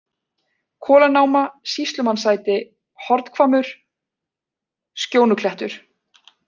Kolanáma, Sýslumannssæti, Hornhvammur, Skjónuklettur